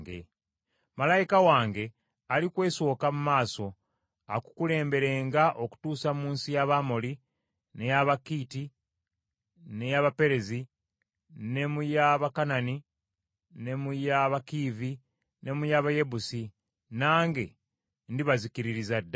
Malayika wange alikwesooka mu maaso akukulemberenga akutuuse mu nsi y’Abamoli, ne mu y’Abakiiti, ne mu y’Abaperezi, ne mu y’Abakanani, ne mu y’Abakiivi, ne mu y’Abayebusi, nange ndibazikiririza ddala.